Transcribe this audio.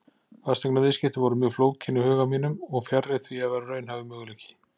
Fasteignaviðskipti voru mjög flókin í huga mínum og fjarri því að vera raunhæfur möguleiki.